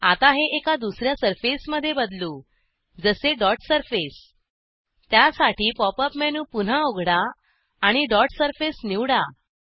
आता हे एका दुसर्या सर्फेसमध्ये बदलू जसे डॉट सरफेस त्यासाठी पॉप अप मेनू पुन्हा उघडा आणि डॉट सरफेस निवडा